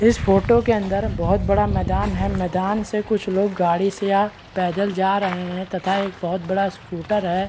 इस फोटो के अंदर बहुत बड़ा मैदान है मैदान से कुछ लोग गाड़ी से या पैदल जा रहे है तथा एक बहुत बड़ा स्कूटर है।